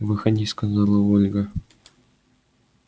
выходи сказала ольга